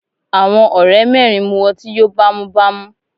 Àwọn ọ̀rẹ́ mẹ́rin mú ọtí yóò bá mú bá mú.